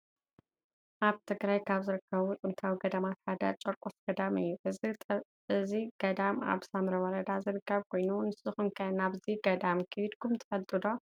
አብ ትግራይ ካብ ዝርከቡ ጥንታዊ ገዳማት ሓደ ጨርቆስ ገዳም እዩ ።እዚ ጠዳም አብ ሳምረ ወረዳ ዝርከብ ኮይኑ ንስኩም ከ ናብዚ ገዳም ኪድኩም ዶ ትፈልጡ?